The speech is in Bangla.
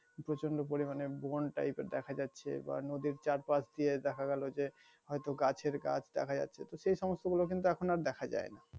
প্রচন্ড পরিমানে বন টাইপের দেখা যাচ্ছে বা নদীর চারপাশ দিয়ে দেখা গেলো যে হয়তো গাছের গাছ দেখা যাচ্ছে তো সে সমস্ত গুলো কিন্তু আর দেখা যায় না